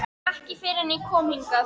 Ekki fyrr en ég kom hingað.